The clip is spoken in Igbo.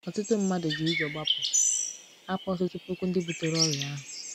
Ọtụtụ mmadụ ji ji ụjọ gbapụ — hapụ ọtụtụ puku ndị butere ọrịa ahụ.